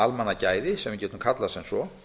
almannagæði sem við getum kallað sem svo